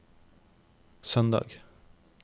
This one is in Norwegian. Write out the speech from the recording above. søndag